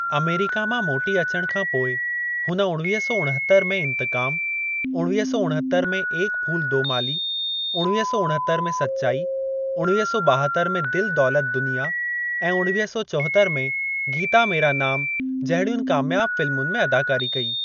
America मां मोटी अचण खां पोइ हुन उणवीह सौ उणहतरि में इंतकाम, उणवीह सौ उणहतरि में एक फूल दो माली, उणवीह सौ उणहतरि में सच्चाई, उणवीह सौ ॿाहतर में दिल दौलत दुनिया ऐं उणवीह सौ चौहतर में गीता मेरा नाम जहिड़ियुनि कामयाब फ़िल्मुनि में अदाकारी कई।